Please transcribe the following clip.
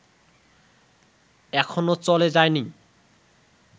এখনো চলে যায়নি